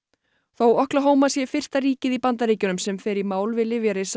þótt sé fyrsta ríkið í Bandaríkjunum sem fer í mál við